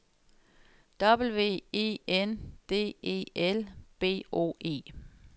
W E N D E L B O E